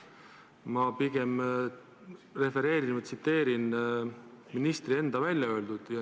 Ma pigem refereerin ministri enda öeldut.